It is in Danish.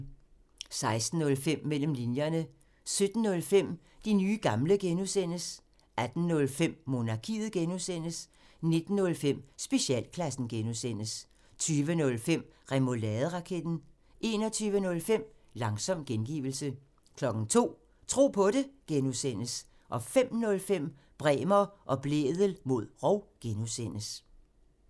16:05: Mellem linjerne 17:05: De nye gamle (G) 18:05: Monarkiet (G) 19:05: Specialklassen (G) 20:05: Remouladeraketten 21:05: Langsom gengivelse 02:00: Tro på det (G) 05:05: Bremer og Blædel mod rov (G)